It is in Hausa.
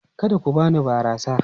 Kada ku bani barasa!